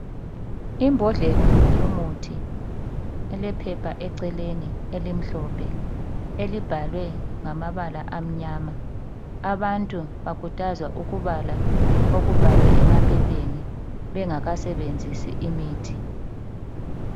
Imbodlela yomuthi elephepha eceleni eliimhlophe elibhalwe ngamabala amnyama. Abantu bakhuthazwa ukubala okubhalwe emaphepheni bengakasebenzisi imithi.